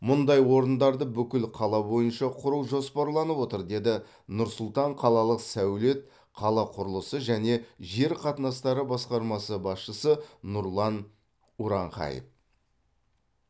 мұндай орындарды бүкіл қала бойынша құру жоспарланып отыр деді нұр сұлтан қалалық сәулет қала құрылысы және жер қатынастары басқармасы басшысы нұрлан уранхаев